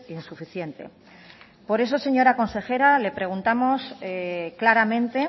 insuficiente por eso señora consejera le preguntamos claramente